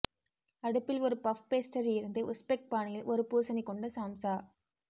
அடுப்பில் ஒரு puff pastry இருந்து உஸ்பெக் பாணியில் ஒரு பூசணி கொண்ட சாம்சா